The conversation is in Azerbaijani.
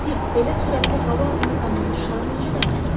Dik, belə sürətli hava axını zamanı şarı necə dayandıraq?